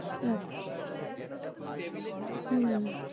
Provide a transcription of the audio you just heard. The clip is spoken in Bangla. আচ্ছা, হু